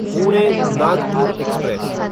Pune Nagpur express